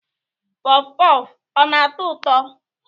Puff puff ọ na-atọ ụtọ?